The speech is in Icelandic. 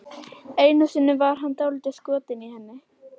Einu sinni var hann dálítið skotinn í henni.